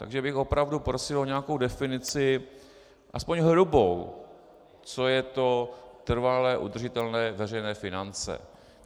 Takže bych opravdu prosil o nějakou definici, aspoň hrubou, co jsou to trvale udržitelné veřejné finance.